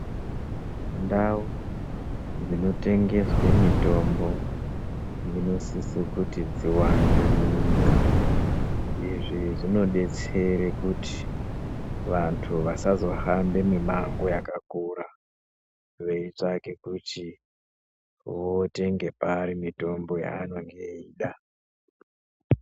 Ndau dzino tengeswe mitombo dzinosise kuti dzi wande mu nyika izvi zvino detsere kuti vantu vasazo hambe mi mango yaka kura vei tsvake kuti votenge pari mitombo ya anenge eida.